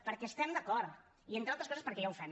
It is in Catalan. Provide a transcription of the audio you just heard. perquè hi estem d’acord i entre altres coses perquè ja ho fem